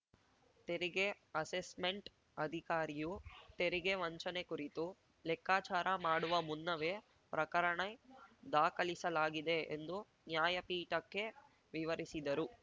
ತೆರಿಗೆ ಅಸೆಸ್ಮೆಂಟ್‌ ಅಧಿಕಾರಿಯು ತೆರಿಗೆ ವಂಚನೆ ಕುರಿತು ಲೆಕ್ಕಚಾರ ಮಾಡುವ ಮುನ್ನವೇ ಪ್ರಕರಣ ದಾಖಲಿಸಲಾಗಿದೆ ಎಂದು ನ್ಯಾಯಪೀಠಕ್ಕೆ ವಿವರಿಸಿದರು